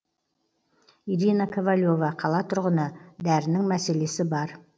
ирина ковалева қала тұрғыны дәрінің мәселесі бар